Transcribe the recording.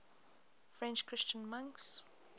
french christian monks